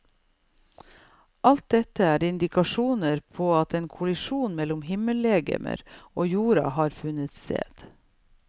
Alt dette er indikasjoner på at en kollisjon mellom himmellegemer og jorda har funnet sted.